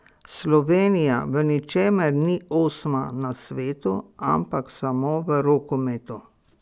Slovenija v ničemer ni osma na svetu, ampak samo v rokometu.